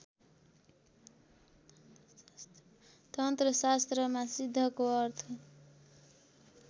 तन्त्रशास्त्रमा सिद्धको अर्थ